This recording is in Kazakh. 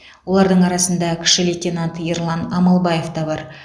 олардың арасында кіші лейтенант ерлан амалбаев та бар